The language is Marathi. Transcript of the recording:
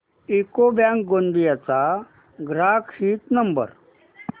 यूको बँक गोंदिया चा ग्राहक हित नंबर